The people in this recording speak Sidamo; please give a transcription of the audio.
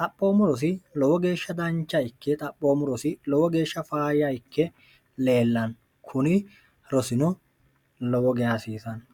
xaphoommurosi lowo geeshsha dancha ikke xaphoommurosi lowo geeshsha fayya ikke leellanno kuni rosino lowoge hasiisanno